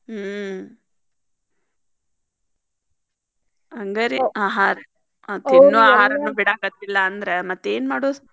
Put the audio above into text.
ಹ್ಮ್‌ ಹಂಗಾರ್ರಿ ಆಹಾರ್ okay ತಿನ್ನು ಆಹಾರನೂ ಬಿಡಾಕತಿಲ್ಲಾ ಅಂದ್ರ್ ಮತ್ತೇನ್ ಮಾಡೋದ್.